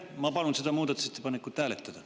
Ma palun seda muudatusettepanekut hääletada.